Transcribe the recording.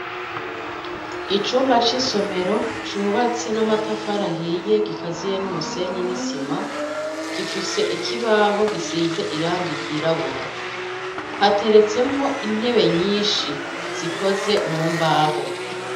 Icumba c'isomero cubatse n'amatafari ahiye gikaziye n'umusenyi n'isima, gifise ikibaho gisize irangi ryirabura, hateretsemwo intebe nyinshi zikozwe mu mbaho.